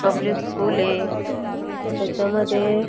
public school आहे त्याच्यामध्ये--